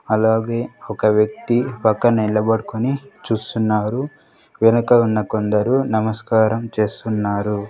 అలాగే ఒక వ్యక్తి పక్కన నిలబడుకొని చూస్తున్నారు వెనక ఉన్న కొందరు నమస్కారం చేస్తున్నారు.